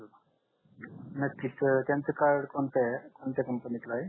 नक्कीच त्यांच कार्ड कोणत आहे कोणत्या कंपनीच आहे